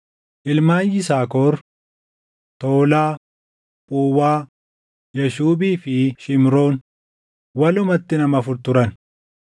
Ilmaan Yisaakor: Toolaa, Phuwaa, Yaashuubii fi Shimroon; walumatti nama afur turan.